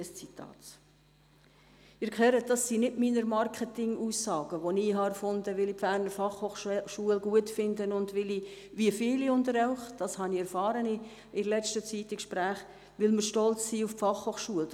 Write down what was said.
» Sie hören, dass es sich nicht um meine Marketingaussagen handelt, welche ich erfunden habe, weil ich die BFH gut finde und weil ich, wie viele unter Ihnen – das habe ich in letzter Zeit in Gesprächen erfahren –, stolz bin auf die Fachhochschule.